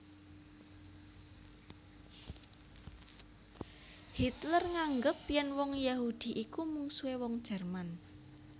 Hitler nganggep yèn wong Yahudi iku mungsuhé wong Jerman